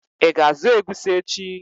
Ị ga azụ egusi echi?